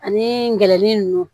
Ani gɛrin nunnu